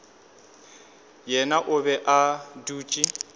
yena o be a dutše